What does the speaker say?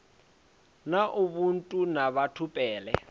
na ubuntu na batho pele